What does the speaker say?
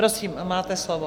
Prosím, máte slovo.